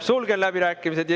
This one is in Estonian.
Sulgen läbirääkimised.